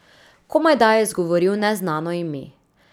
Komajda je izgovoril neznano ime.